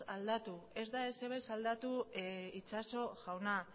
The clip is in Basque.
aldatu ez da ezer ere ez aldatu itxaso jauna